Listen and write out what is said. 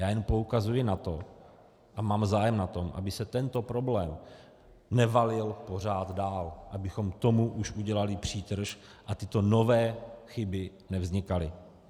Já jen poukazuji na to a mám zájem na tom, aby se tento problém nevalil pořád dál, abychom tomu už udělali přítrž a tyto nové chyby nevznikaly.